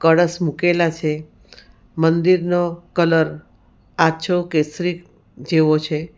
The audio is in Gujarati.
કળસ મુકેલા છે મંદિરનો કલર આછો કેસરી જેવો છે.